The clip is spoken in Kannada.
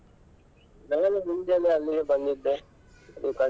ನಾವೆಲ್ಲ ಮುಂಚೆಯೆಲ್ಲಾ ಅಲ್ಲಿಗೆ ಬಂದಿದ್ದೆ .